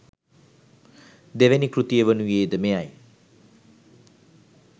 දෙවැනි කෘතිය වනුයේ ද මෙය යි.